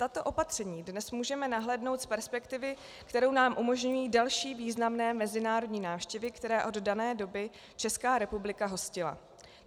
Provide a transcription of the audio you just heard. Tato opatření dnes můžeme nahlédnout z perspektivy, kterou nám umožní další významné mezinárodní návštěvy, které od dané doby Česká republika hostila.